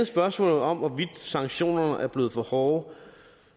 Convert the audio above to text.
spørgsmålet om hvorvidt sanktionerne er blevet for hårde